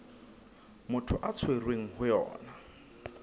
motho a tshwerweng ho yona